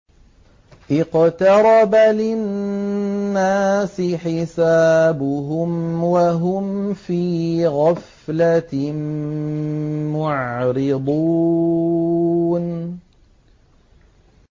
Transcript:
اقْتَرَبَ لِلنَّاسِ حِسَابُهُمْ وَهُمْ فِي غَفْلَةٍ مُّعْرِضُونَ